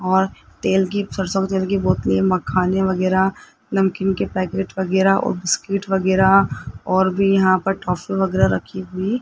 और तेल की सरसों की तेल की बोतले मखाने वगैरा नमकीन के पैकेट वगैरा और बिस्किट वगैरा और भी यहां पर टॉफी वगैरा रखी हुई --